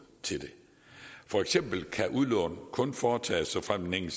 til det for eksempel kan udlån kun foretages såfremt den